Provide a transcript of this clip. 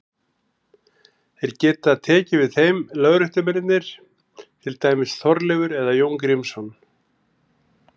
Þeir geta tekið við þeim lögréttumennirnir, til dæmis Þorleifur eða Jón Grímsson.